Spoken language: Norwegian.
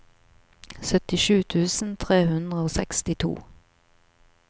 syttisju tusen tre hundre og sekstito